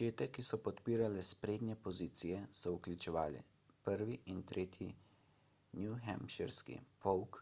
čete ki so podpirale sprednje pozicije so vključevale 1. in 3. newhampshirski polk